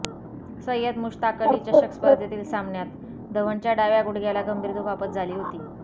सय्यद मुश्ताक अली चषक स्पर्धेतील सामन्यात धवनच्या डाव्या गुडघ्याला गंभीर दुखापत झाली होती